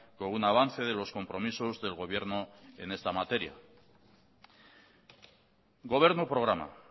con una avance de los compromisos del gobierno en esta materia gobernu programa